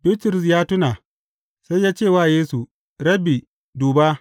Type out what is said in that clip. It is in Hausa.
Bitrus ya tuna, sai ya ce wa Yesu, Rabbi, duba!